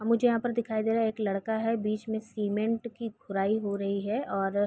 और मुझे यहाँ पर दिखाई दे रहा एक लड़का है बीच में सीमेंट की खुराई हो रही है और --